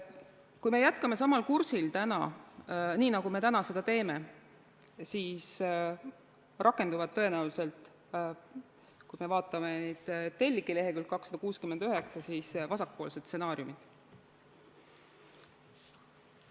Kui me jätkame samal kursil nagu täna, siis rakenduvad tõenäoliselt, kui me vaatame neid telgi leheküljel 269, vasakpoolsed stsenaariumid.